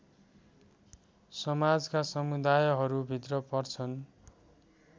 समाजका समुदायहरूभित्र पर्छन्